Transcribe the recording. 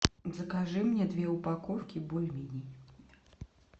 закажи мне две упаковки бульменей